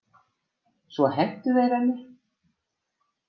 Svo hentu þeir henni.